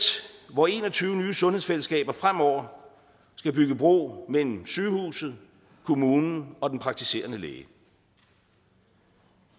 hvor en og tyve nye sundhedsfællesskaber fremover skal bygge bro mellem sygehuset kommunen og den praktiserende læge